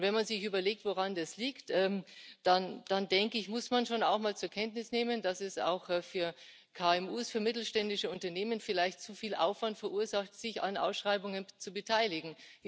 Und wenn man sich überlegt, woran das liegt, dann muss man schon auch mal zur Kenntnis nehmen, dass es auch für KMU, für mittelständische Unternehmen vielleicht zu viel Aufwand verursacht, sich an Ausschreibungen zu beteiligen.